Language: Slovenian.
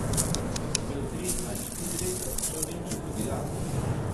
Ko sem imel tri ali štiri leta, sem šel v Nemčijo tudi jaz.